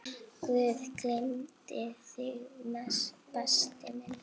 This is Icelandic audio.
Guð geymi þig, besti minn.